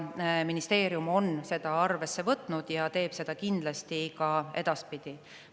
Ministeerium on seda arvesse võtnud ja teeb seda kindlasti ka edaspidi.